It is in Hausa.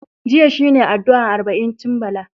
Jiya shi ne addu'ar arba'incin Bala.